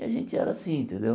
E a gente era assim, entendeu?